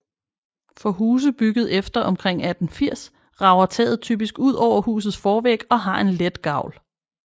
For huse bygget efter omkring 1880 rager taget typisk ud over husets forvæg og har en let gavl